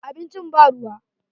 Abincin ba ruwa.